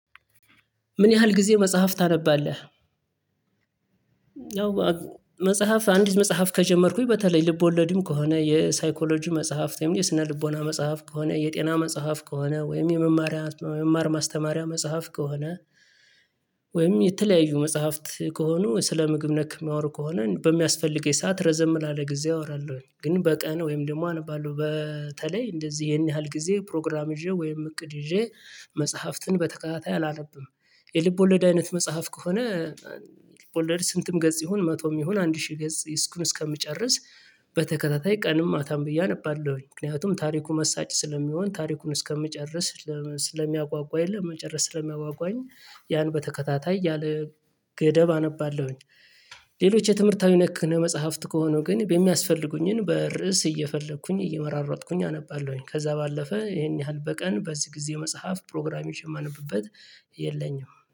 ምን ያህል ጊዜ መጽሐፍ ታነባለህ? ያው መጽሐፍ አንዲት መጽሐፍ ከጀመርኩኝ በተለይ ልቦለድም ከሆነ የሳይኮሎጂ መጽሐፍት የስነ ልቦና መጽሐፍ ከሆነ የጤና መጽሐፍ ከሆነ ወይም የመማሪያ መማር ማስተማሪያ መጽሐፍ ከሆነ ወይም የተለያዩ መጽሐፍት ከሆኑ ስለ ምግብ ነክ የሚያወሩ ከሆነ በሚያስፈልገኝ ሰዓት ረዘም ላለ ጊዜ አወራለሁኝ ግን በቀን ወይም ደግሞ አነባለሁ በተለይ እንደዚህ ይሄን ያህል ጊዜ ፕሮግራም ይዤ ወይም እቅድ ይዤ መጽሐፍትን በተከታታይ አላነብም። የልብ ወለድ አይነት መጽሐፍ ከሆነ ልብ ወለድ ስንትም ገጽ ይሁን መቶም ይሁን አንድ ሺህ ገጽ እስኩን እስከምጨርስ በተከታታይ ቀንም ማታም ብዬ አነባለሁኝ ምክንያቱም ታሪኩ መሳጭ ስለሚሆን ታሪኩን እስከምጨርስ ስለሚያጓጓ የለም መጨረስ ስለሚያጓጓኝ ያን በተከታታይ ያለ ገደብ አነባለሁኝ። ሌሎች የትምህርታዊ ነክ መጽሐፍት ከሆኑ ግን በሚያስፈልጉኝን በርዕስ እየፈለኩኝ እየመራረጥኩኝ አነባለሁኝ ከዛ ባለፈ ይሄን ያህል በቀን በዚህ ጊዜ መጽሐፍ ፕሮግራሜ የማነብበት የለኝም።